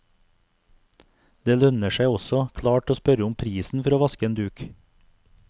Det lønner seg også klart å spørre om prisen for å vaske en duk.